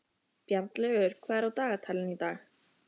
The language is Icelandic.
Bjarnlaugur, hvað er á dagatalinu í dag?